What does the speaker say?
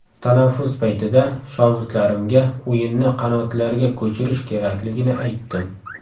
Tanaffus paytida shogirdlarimga o‘yinni qanotlarga ko‘chirish kerakligini aytdim.